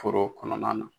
Foro kɔnɔna na